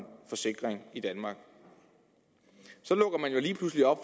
forsikring i danmark så lukker man jo lige pludselig op